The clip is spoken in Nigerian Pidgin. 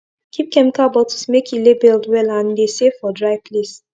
keep chemical bottles make e labeled well and de save for dry place